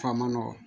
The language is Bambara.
F'a ma nɔgɔn